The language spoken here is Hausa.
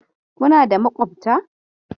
Kuna da makwabta?